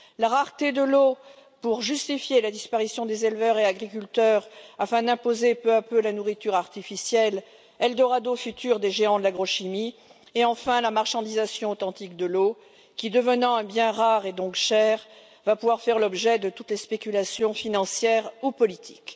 La rareté de l'eau pour justifier la disparition des éleveurs et agriculteurs et imposer peu à peu la nourriture artificielle eldorado futur des géants de l'agrochimie et enfin la marchandisation authentique de l'eau qui, devenant un bien rare et donc cher, va pouvoir faire l'objet de toutes les spéculations financières ou politiques.